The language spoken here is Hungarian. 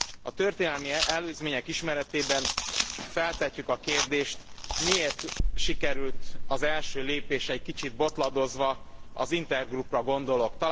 A történelmi előzmények ismeretében feltehetjük a kérdést, miért sikerült az első lépés egy kicsit botladozva. Az Intergroupra gondolok.